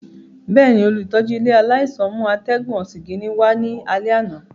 Bẹẹni, olutọju ile alaisan mu atẹgun osigini wa ni alẹ ana.